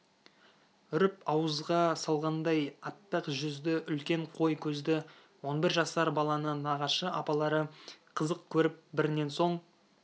үріп ауызға салғандай аппақ жүзді үлкен қой көзді он бір жасар баланы нағашы апалары қызық көріп бірінен соң